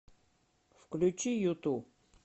включи юту